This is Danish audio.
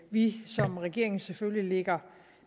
vi som regering selvfølgelig lægger